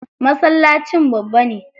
Masallacin babba ne.